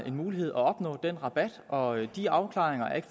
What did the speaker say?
mulighed at opnå den rabat og de afklaringer af